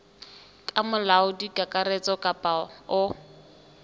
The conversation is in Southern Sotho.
ke molaodi kakaretso kapa o